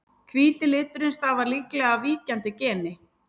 Hvíti liturinn stafar líklega af víkjandi geni.